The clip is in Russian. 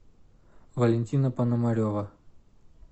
валентина пономарева